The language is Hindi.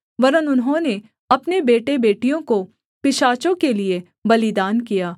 वरन् उन्होंने अपने बेटेबेटियों को पिशाचों के लिये बलिदान किया